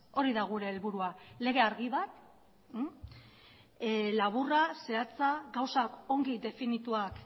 hori da gure helburua lege argi bat laburra zehatzak gauzak ongi definituak